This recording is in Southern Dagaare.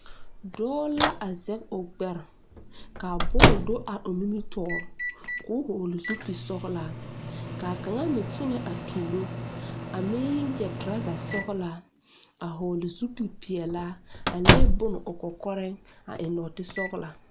Dɔɔ la a zage o gbɛre ka a bɔl do a o nimitɔɔre k'o vɔgle zupile sɔglaa ka a kaŋa meŋ kyɛnɛ atuuro a meŋ yɛre toraza sɔglaa a vɔgle zupilipeɛle a le bone o kɔkɔreŋ a eŋ nɔɔte sɔglaa.